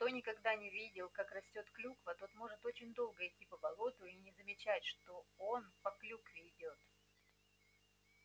кто никогда не видел как растёт клюква тот может очень долго идти по болоту и не замечать что он по клюкве идёт